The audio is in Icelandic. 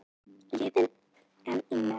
Liðið enn í neðsta sæti